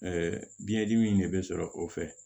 biyɛn dimi in de bɛ sɔrɔ o fɛ